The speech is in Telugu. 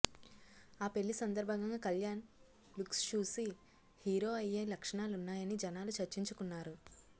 ఆ పెళ్లి సందర్భంగా కళ్యాణ్ లుక్స్ చూసి హీరో అయ్యే లక్షణాలున్నాయని జనాలు చర్చించుకున్నారు